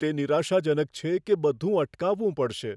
તે નિરાશાજનક છે કે બધું અટકાવવું પડશે.